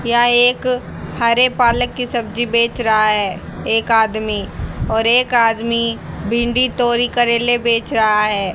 यहां एक हरे पालक की सब्जी बेच रहा है एक आदमी और एक आदमी भिंडी तोरी करेले बेच रहा है।